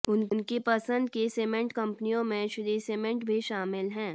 उनकी पसंद की सीमेंट कंपनियों में श्री सीमेंट भी शामिल है